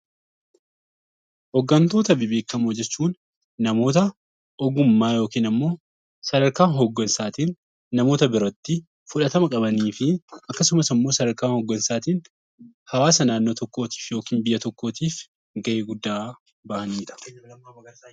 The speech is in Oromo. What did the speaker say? Hooggantoota bebbeekamoo jechuun namoota ogummaa yookiin sadarkaa hooggansaatiin namoota biratti fudhatama qabanii fi akkasumas immoo sadarkaa hooggansaatiin hawaasa naannoo tokkootiif yookiin biyya tokkoof gahee guddaa bahatudha.